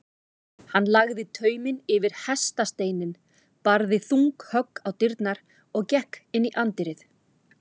Hann lagði tauminn yfir hestasteininn, barði þung högg á dyrnar og gekk inn í anddyrið.